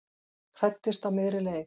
Hræddist á miðri leið